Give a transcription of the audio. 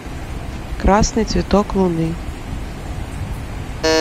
красный цветок луны